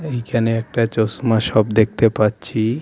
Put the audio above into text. এইখানে একটা চশমা সপ দেখতে পাচ্ছি .